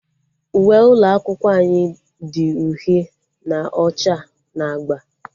Uwe ụlọ akwụkwọ anyị dị uhie na ọcha na agba